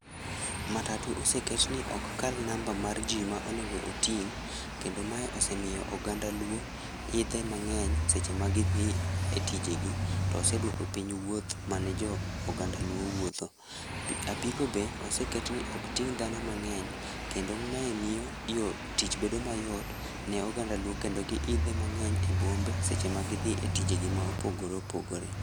Matatu oseket ni ok kal namba mar jii ma onego oting', kendo mae osemiyo oganda luo, idhe mang'eny e seche ma gidhii e tijegi, to oseduoko piny wuoth mane joo oganda luo wuotho, apiko be oseket ni okting dhano mang'eny, kendo mae miyo tich bedo mayot ne oganda luo kendo giidhe mang'eny e bombe seche ma gidhii e tijegi ma opogore opogore.